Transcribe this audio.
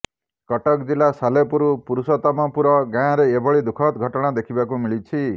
କଟକ ଜିଲ୍ଲା ସାଲେପୁର ପୁରୁଷୋତ୍ତମପୁର ଗାଁରେ ଏଭଳି ଦୁଃଖଦ ଘଟଣା ଦେଖିବାକୁ ମିଳିଛି